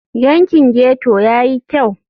Yankin ghetto ya yi kyau?